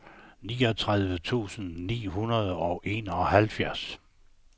niogtredive tusind ni hundrede og enoghalvfjerds